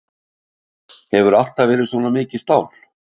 Hefurðu alltaf verið svona mikið stál?